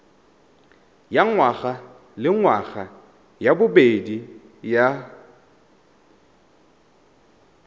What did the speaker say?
ya ngwagalengwaga ya bobedi ya